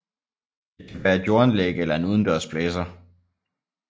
Det kan være et jordanlæg eller en udendørs blæser